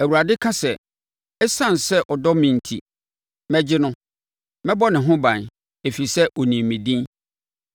Awurade ka sɛ, “Esiane sɛ ɔdɔ me enti, mɛgye no; mɛbɔ ne ho ban, ɛfiri sɛ ɔnim me din.